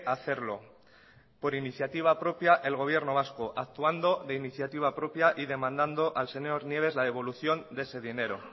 hacerlo por iniciativa propia el gobierno vasco actuando de iniciativa propia y demandando al señor nieves la devolución de ese dinero